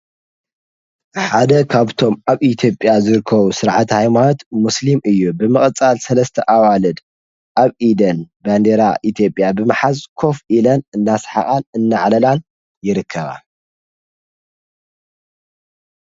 ሓደ ኻብቶም ኣብ ኢትዮጵያ ዝርኮቡ ሥርዓት ኃይማወት ሙስልም እዩ ብመቐጻል ሠለስተ ኣዋልድ ኣብ ኢደን በንኔይራ ኢቲጴያ ብመሓዝ ኰፍ ኢለን እናስሓቓን እነዓለላን ይርከባ ::